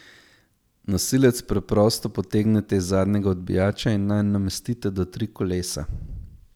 Nosilec preprosto potegnete iz zadnjega odbijača in nanj namestite do tri kolesa.